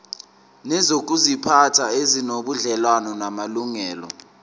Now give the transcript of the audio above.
nezokuziphatha ezinobudlelwano namalungelo